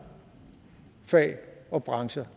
fag og brancher